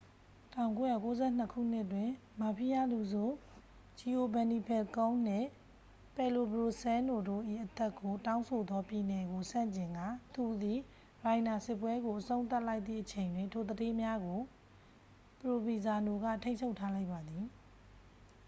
1992 ခုနှစ်တွင် မာဖီးယားလူဆိုး ဂျီအိုဗန်နီဖယ်ကုန်းန် နှင့် ပယ်လိုဘရိုစဲလ်နို တို့၏အသက်ကိုတောင်းဆိုသောပြည်နယ်ကိုဆန့်ကျင်ကာ သူသည် ရိုင်နာစစ်ပွဲကိုအဆုံးသတ်လိုက်သည့်အချိန်တွင် ထိုသူဌေးများကို ပရိုဗီဇာနိုက ထိန်းချုပ်ထားလိုက်ပါသည်